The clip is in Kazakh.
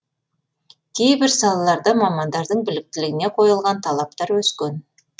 кейбір салаларда мамандардың біліктілігіне қойылған талаптар өскен